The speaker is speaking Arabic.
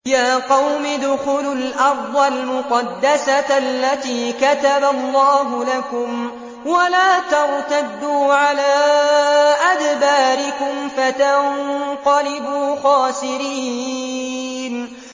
يَا قَوْمِ ادْخُلُوا الْأَرْضَ الْمُقَدَّسَةَ الَّتِي كَتَبَ اللَّهُ لَكُمْ وَلَا تَرْتَدُّوا عَلَىٰ أَدْبَارِكُمْ فَتَنقَلِبُوا خَاسِرِينَ